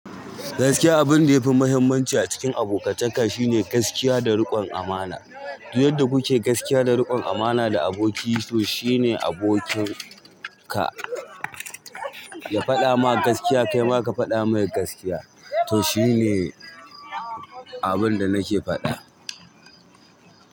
Gaskiya abin da yafi muhimmanci a cikin abokantaka shine gaskiya da riƙon amana. Inda kuke gaskiya da riƙon amana da aboki, to shine abokin ka. Ya faɗa maka gaskiya kai ma ka faɗa mai gaskiya. Tom shine abinda nake faɗa.